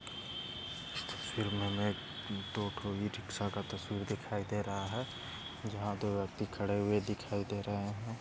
फिरमोमेग दो रिक्षा का तस्वीर दिखाई दे रहा है जहा दो व्यक्ती खडे हुये दिखाई दे रहे है।